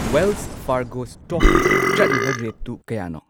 Welsh Fargo ꯁ꯭ꯇꯣꯛꯀꯤ ꯆꯠꯂꯤꯕ ꯔꯦꯠꯇꯨ ꯀꯌꯥꯅꯣ